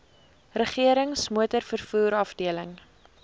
regerings motorvervoer afdeling